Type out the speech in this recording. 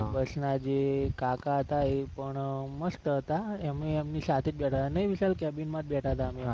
બસ ના જે કાકા હતા એ પણ મસ્ત હતા. અમે એમની સાથે જ બેઠા હતા નહી વિશાલ cabin મા જ બેઠા હતા નહિ અમે